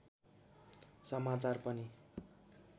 समाचार पनि